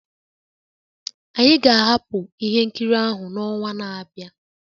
Anyị ga-ahapụ ihe nkiri ahụ n'ọnwa na-abịa